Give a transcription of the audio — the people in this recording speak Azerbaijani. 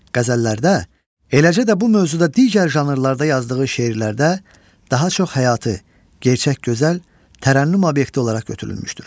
qəzəllərdə, eləcə də bu mövzuda digər janrlarda yazdığı şeirlərdə daha çox həyatı gerçək gözəl tərənnüm obyekti olaraq götürülmüşdür.